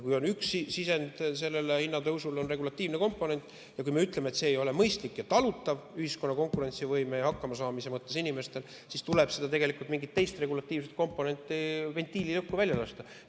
Kui üks selle hinnatõusu sisendeid on regulatiivne komponent ja kui me ütleme, et see ei ole mõistlik ja talutav ühiskonna konkurentsivõime ja hakkamasaamise mõttes, siis tuleb tegelikult mingist teisest regulatiivsest komponendist, ventiilist õhku välja lasta.